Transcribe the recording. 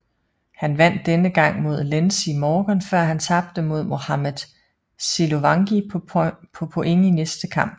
Han vandt denne gang mod Lenzie Morgan før han tabte mod Mohamed Siluvangi på point i næste kamp